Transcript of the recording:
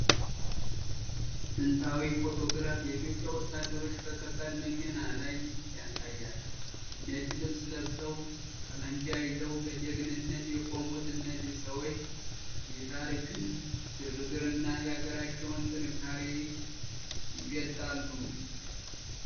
ጥንታዊ ፎቶግራፍ የኢትዮጵያ ወታደሮችን በከባድ መኪና ላይ ያሳያል። ነጭ ልብስ ለብሰው ጠመንጃ ይዘው በጀግንነት የቆሙት እነዚህ ሰዎች የታሪክን ግርግርና የአገራቸውን ጥንካሬ ይገልጣሉ።